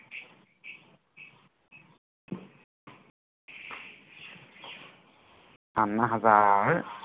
Anna Hazare